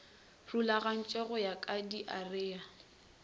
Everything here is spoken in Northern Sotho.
rulagantšwe go ya ka diarea